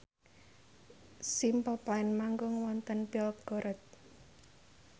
Simple Plan manggung wonten Belgorod